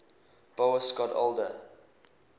boas got older